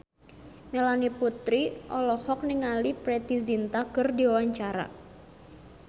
Melanie Putri olohok ningali Preity Zinta keur diwawancara